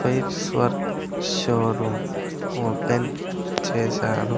Tiles work showroom open చేశారు.